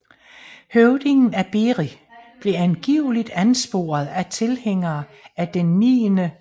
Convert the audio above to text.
Høvdingen af Beri blev angiveligt ansporet af tilhængere af den 9